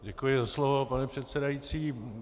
Děkuji za slovo, pane předsedající.